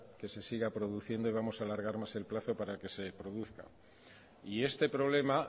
que se siga produciendo y vamos a alargar más el plazo para que se produzca y este problema